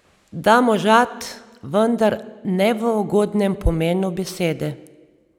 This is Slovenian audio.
Da možat, vendar ne v ugodnem pomenu besede.